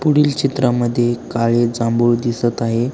पुढील चित्रा मध्ये काळे जांभूळ दिसत आहे.